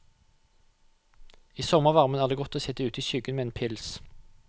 I sommervarmen er det godt å sitt ute i skyggen med en pils.